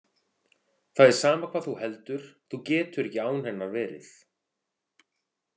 Það er sama hvað þú heldur, þú getur ekki án hennar verið.